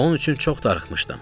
Onun üçün çox darıxmışdım.